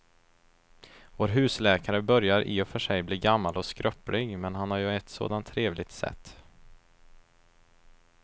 Vår husläkare börjar i och för sig bli gammal och skröplig, men han har ju ett sådant trevligt sätt!